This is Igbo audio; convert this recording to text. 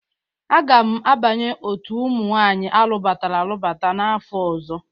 Aga m abanye otu ụmụ nwaanyị alụbatara alụbata n'afọ ọzọ.